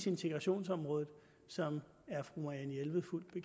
integrationsområdet som